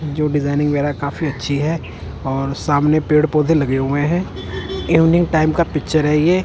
जो डिजाइनिंग वगैरह काफी अच्छी है और सामने पेड़ पौधे लगे हुए हैं इवनिंग टाइम का पिक्चर है ये।